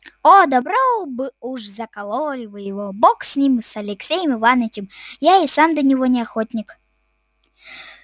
о добро бы уж закололи вы его бог с ним с алексеем иванычем я и сам до него не охотник